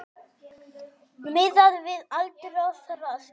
Miðað við aldur og þroska.